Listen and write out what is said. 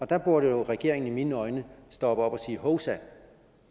der burde regeringen i mine øjne stoppe op og sige hovsa at